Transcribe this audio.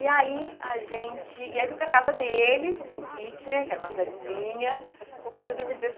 E aí a gente... E aí eu fui para a casa deles, em Kitchener, que era uma cidadezinha, e eu dormi